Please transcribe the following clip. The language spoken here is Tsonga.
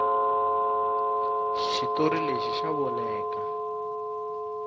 xitori lexi xa voneka